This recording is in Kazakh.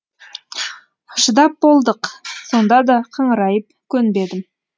шыдап болдық сонда да қыңырайып көнбедім